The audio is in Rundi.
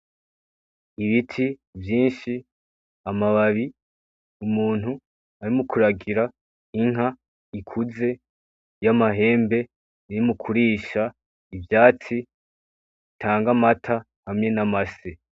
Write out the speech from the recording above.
Ibiti vyinshi amababi, umuntu arimo kuragira inka ikuze y'amahembe iri mukurisha ivyatsi, itanga amata hamwe namase.